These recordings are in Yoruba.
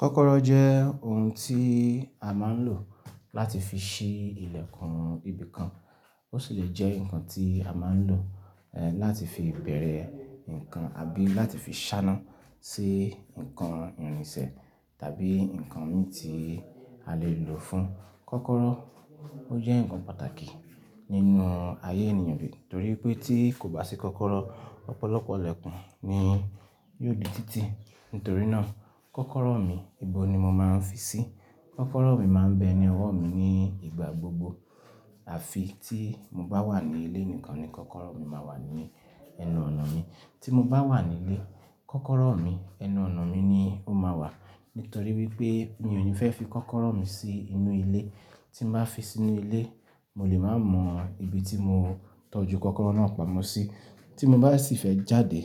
Kọ́kọ́rọ́ jẹ́ ohun tí a máa ń lò láti fi ṣí ilẹ̀kùn ibìkan. Ó sì lè jẹ́ ǹkan tí a máa ń lò, ẹ́, láti fi bẹ̀rẹ̀ ǹkan àbí láti fi ṣáná sí ǹkan ìrìnṣẹ̀ tàbí ǹkan mì tí a lè lò fún. Kọ́kọ́rọ́, ó jẹ́ ǹkan pàtàkì nínú ayé ènìyàn, torí pé tí kò bá sí kọ́kọ́rọ́, ọ̀pọ̀lọpọ̀ ilẹ̀kùn ni yóò di títí. Nítorí náà, kọ́kọ́rọ́ mi, ohun ni mo máa ń fi sí? Kọ́kọ́rọ́ mi máa ń bẹ ní ọwọ́ mi ní ìgbà gbogbo. Àfi tí mo bá wà ní ilé nìkan ni kọ́kọ́rọ́ mi máa wà ní ẹnu ọ̀nà mi. Tí mo bá wà nílé, kọ́kọ́rọ́ mi ẹnu ọ̀nà mi ni ó máa wà. Nítorí wípé mi ò ní fẹ́ fi kọ́kọ́rọ́ mi sí inú ilé. Tí mo bá fi sí inú ilé, mo lè má mọ ibi tí mo tọ́jú kọ́kọ́rọ́ náà pamọ́ sí. Tí mo bá sì fẹ́ jáde,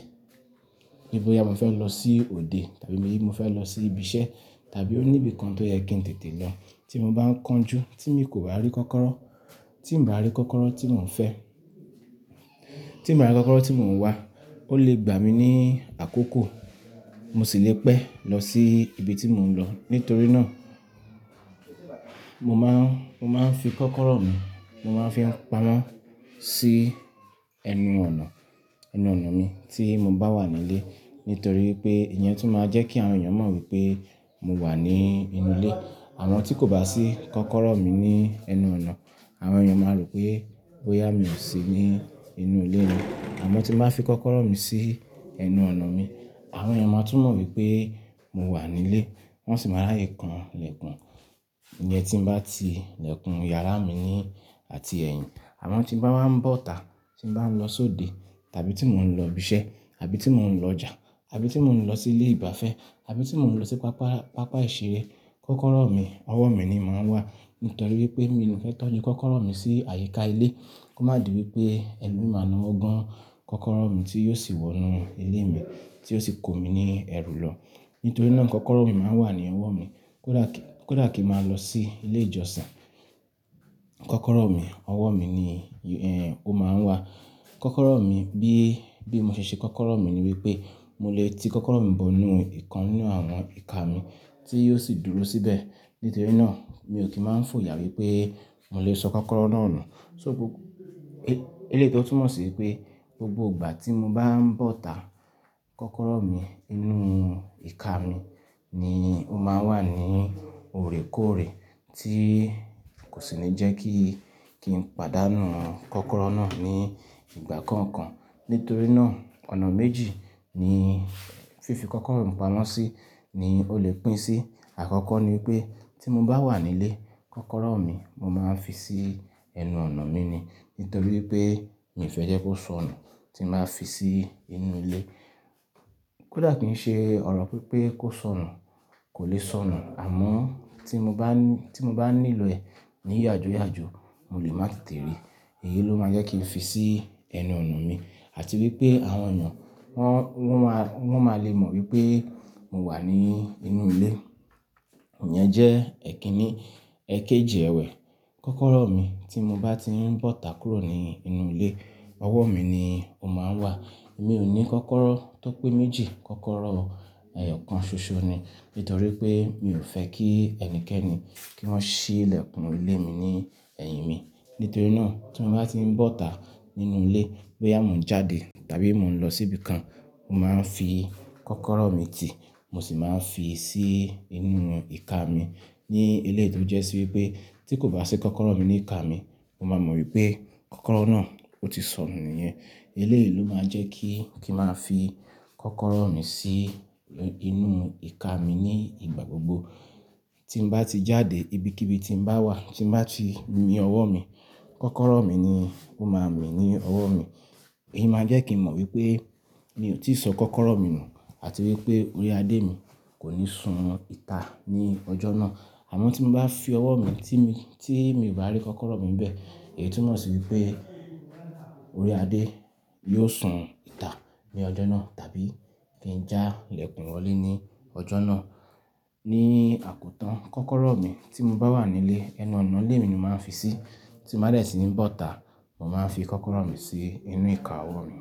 bóyá mo fẹ́ lọ sí òde tàbí mo fẹ́ lọ sí ibi iṣẹ́ tàbí ó níbi kan tó yẹ kí n tètè lọ. Tí mo bá ń kánjú tí mi kò bá rí kọ́kọ́rọ́, tí n bá rí kọ́kọ́rọ́ tí mò ń fẹ́, tí n bá rí kọ́kọ́rọ́ tí mò ń wá, ó lè gbà mí ní àkókò. Mo sì le pẹ́ lọ sí ibi tí mò ń lọ. Nítorí náà, mo máa ń, mo máa ń fi kọ́kọ́rọ́ mi, mo máa ń fi pamọ́ sí ẹnu ọ̀nà, ẹnu ọ̀nà mi tí mo bá wà nílé. Nítorí pé ìyẹn tún máa jẹ́ kí àwọn ènìyàn mọ̀ wípé mo wà ní inú ilé. Àwọn tí kò bá sí kọ́kọ́rọ́ mi ní ẹnu ọ̀nà, àwọn ènìyàn máa rò pé, bóyá mi ò sí ní inú ilé mi. Àmọ́ tí mo bá fi kọ́kọ́rọ́ mi sí ẹnu ọ̀nà mi, àwọn ènìyàn máa tún mọ̀ wípé mo wà nílé. Wọn sì máa ráyè kan ilẹ̀kùn ìyẹn tí n bá ti ilẹ̀kùn yàrá mi ni àti ẹ̀yìn. Àmọ́ tí bá máa ń bọ́ta tí n bá ń lọ sóde tàbí tí mò ń lọ ibi iṣẹ́ àbí tí mò ń lọ ọjà àbí tí mò ń lọ sí ilé ìgbafẹ́ àbí tí mò ń lọ sí pápá, pápá ìṣeré, kọ́kọ́rọ́ mi, ọwọ́ mi ni màá wà. Nítorí wípé mi ò ní fẹ́ tọ́jú kọ́kọ́rọ́ mi sí àyíká ilé. Kó má di wípé ẹlòmíràn máa nawọ́ gán kọ́kọ́rọ́ mi tí yóò sì wọ inú ilé mi, tí yóò sì kó mi ní ẹ̀rù lọ. Nítorí náà kọ́kọ́rọ́ mi máa ń wà ní ọwọ́ mi. Kódà kí, kódà kí máa lọ sí ilé ìjọsìn, kọ́kọ́rọ́ mi, ọwọ́ mi ni, ẹ́ǹ, ó máa ń wà. Kọ́kọ́rọ́ mi bí, bí mo ṣe ṣe kọ́kọ́rọ́ mi ni wípé mo lè ti kọ́kọ́rọ́ mi bọ inú ìkan nínú àwọn ìka mi tí yóò sì dúró síbẹ̀. Nítorí náà mi ò kí máa ń fòyà wípé mo lè sọ kọ́kọ́rọ́ náà nù. So bó-- ẹ́, eléyìí tó túnmọ̀ sí pé gbogbo ìgbà tí mo bá ń bọ́ta, kọ́kọ́rọ́ mi inú ìka mi ni ó máa ń wà ní òòrèkóòrè tí kò sì ní jẹ́ kí, kí n pàdánù kọ́kọ́rọ́ náà ní ìgbà kankan Nítorí náà ọ̀nà méjì ni fífi kọ́kọ́rọ́ mi pamọ́ sí ni ó lè pín sí. Àkọ́kọ́ ni wípé tí mo bá wà nílé, kọ́kọ́rọ́ mi mo máa ń fi sí ẹnu ọ̀nà mi ni. Nítorí wípé mi ò fẹ́ jẹ́ kó sọnù tí n bá fi sí inú ilé. Kódà kí n ṣe ọ̀rọ̀ wí pé kó sọnù, kò lè sọnù. Àmọ́ tí mo bá ní, tí mo bá nílò rẹ̀ níyàjúyàjú, mo lè má tètè rí. Èyí ló máa jẹ́ kí n fi sí ẹnu ọ̀nà mi. Àti wípé àwọn ènìyàn wọ́n, wọ́n máa, wọ́n máa lè mọ̀ wípé mo wà ní inú ilé. Ìyẹn jẹ́ ẹ̀kínní. Ẹ̀kẹjì ẹ̀wẹ́, kọ́kọ́rọ́ mi tí mo bá ti ń bọ́ta kúrò ní inú ilé, ọwọ́ mi ni ó máa ń wà. Èmi ò ní kọ́kọ́rọ́ tó pé méjì. Kọ́kọ́rọ́, ẹyọ̀kan ṣoṣo ni. Nítorí pé mi ò fẹ́ kí ẹnikẹ́ni kí wọ́n ṣí ilẹ̀kùn ilé mi ní ẹ̀yìn mi. Nítorí náà tí mo bá ti ń bọ́ta nínú ilé, bóyá mò ń jáde tàbí mò ń lọ síbi kan, mo máa ń fi kọ́kọ́rọ́ mi tì, mo sì máa ń fi sí inú ìka mi. Ní eléyìí tó jẹ́ sí wípé tí kò bá sí kọ́kọ́rọ́ mi ní ìka mi, mo máa mọ̀ wípé kọ́kọ́rọ́ náà ó ti sọnù nìyẹn. Eléyìí ló máa jẹ́ kí, kí n máa fi kọ́kọ́rọ́ mi sí inú ìka mi ní ìgbà gbogbo. Tí n bá ti jáde ibikíbi tí n bá wà, tí n bá ti ni ọwọ́ mi, kọ́kọ́rọ́ mi ni ó máa mì ní ọwọ́ mi. Èyí máa jẹ́ kí n mọ̀ wí pé mi ò tíì sọ kọ́kọ́rọ́ mi nù àti wípé orí adé mi kò ní sun ìta ní ọjọ́ náà. Àmọ́ tí mo bá fi ọwọ́ mi tí mi, tí mi ò bá rí kọ́kọ́rọ́ mi bẹ́ẹ̀, èyí tún mọ̀ sí wípé orí adé yóò sun ìta ní ọjọ́ náà tàbí kí n já ilẹ̀kùn wọlé ní ọjọ́ náà. Ní àkótán, kọ́kọ́rọ́ mi tí mo bá wà nílé, ẹnu ọ̀nà ilé mi ni màá fi sí. Tí mo bá tẹ̀síìn bọ́ta, mo máa ń fi kọ́kọ́rọ́ mi sí inú ìka ọwọ́ mi.